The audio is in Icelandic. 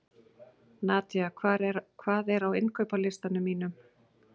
Nadía, hvað er á innkaupalistanum mínum?